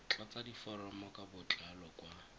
tlatsa diforomo ka botlalo kwa